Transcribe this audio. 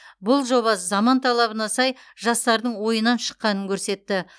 бұл жоба заман талабына сай жастардың ойынан шыққанын көрсетті